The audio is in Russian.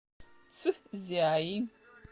цзяи